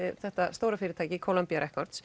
þetta stóra fyrirtæki Columbia